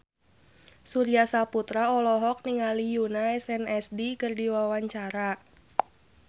Surya Saputra olohok ningali Yoona SNSD keur diwawancara